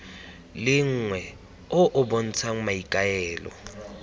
lengwe o o bontshang maikaelelo